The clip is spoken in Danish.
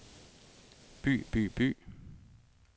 by by by